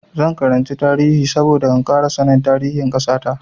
Zan karanci tarihi saboda in ƙara sanin tarihin ƙasa ta.